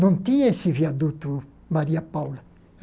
Não tinha esse viaduto Maria Paula.